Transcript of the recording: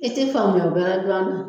E te faamuya bɛrɛ dɔn a na